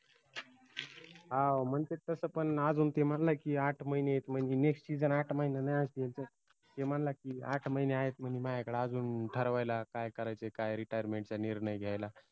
हाओ मंग ते तस पन आजून ते म्हनेना की आठ महिने आयेत म्हनजे nextseason आठ महिन्यान आहे IPL चा ते म्हनला की, आठ महिने आहेत म्हने मायाकडं आजून ठरवायला काय करायचंय काय retirement चा निर्नय घ्यायला